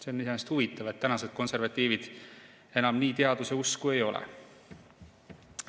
See on iseenesest huvitav, et tänased konservatiivid enam nii teaduseusku ei ole.